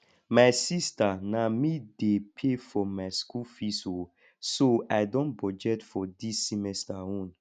my sister na me dey pay for my school fees oo so i don budget for dis semester own